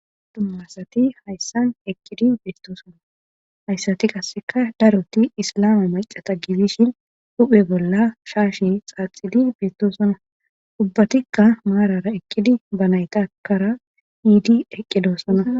dummasati hayssan eqqidi beetto sona hayssati qasseka daroti islame macata gibishin huphe bolla shaashe xaaxidi beettosona ubbatikka maarara eqqidi ba naytakara hiidi eqqedoosona